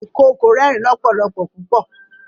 ìkookò rẹrin lọpọlọpọ pupọ.